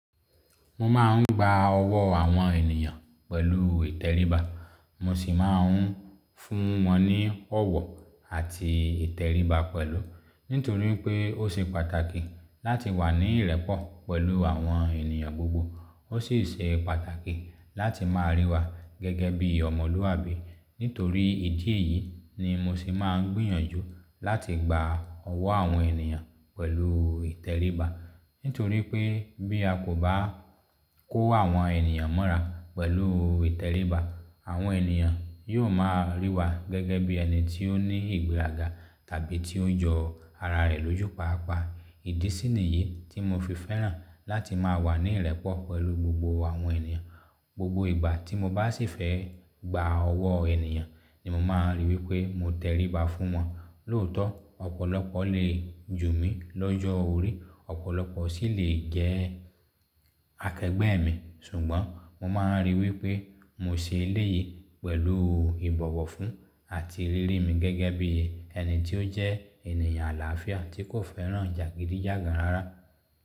Mo máa ń gba ọwọ́ àwọn ènìyàn pẹ̀lú ìtẹríba, mo sì máa ń fún wọn ní ọ̀wọ̀ àti ìtẹríba pẹ̀lú. Nítorí pé ó ṣe pàtàkì láti wà ní ìrẹ́pọ̀ pẹ̀lú àwọn ènìyàn gbogbo, ó sì ṣe pàtàkì láti máa rí wa gẹ́gẹ́ bí ọmọlúwàbí. Nítorí ìdí èyí ni mo sì máa ń gbìyànjú láti gba ọwọ́ àwọn ènìyàn pẹ̀lú ìtẹríba. Nítorí pé bí a kò bá kó àwọn ènìyàn mọ́ra pẹ̀lú ìtẹríba, àwọn ènìyàn yóò máa rí wa gẹ́gẹ́ bí ẹni tí ó ní ìgbéraga tàbí tí o ń jọ ara rẹ̀ lójú páápàá. Ìdí sínì yìí tí mo fi fẹ́ràn láti máa wà ní ìrẹ́pọ̀ pẹ̀lú gbogbo àwọn ènìyàn. Gbogbo ìgbà tí mo bá sì fẹ́ gba ọwọ́ ènìyàn ni mo máa ń rí wí pé mo tẹríba fún wọn. Lóòótọ́, ọ̀pọ̀lọpọ̀ lè jù mí l'ọ́jọ́ orí, ọ̀pọ̀lọpọ̀ sì leè jẹ́ akẹgbẹ́ mi, ṣùgbọ́n mo máa ń rí i wí pé mo ṣe eléyìí pẹ̀lú ìbọ̀wọ̀ fún àti rírí mi gẹ́gẹ́ bí ẹni tí ó jẹ́ ènìyàn àlàáfíà tí kò fẹ́ràn jàgídíjàgan rárá.